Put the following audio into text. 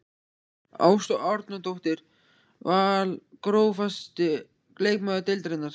Ásta Árnadóttir Val Grófasti leikmaður deildarinnar?